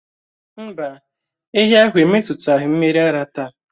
Mbá, ehi ahụ emetụtaghị mmiri ara táá